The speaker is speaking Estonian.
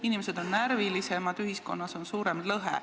Inimesed on närvilisemad, ühiskonnas on suurem lõhe.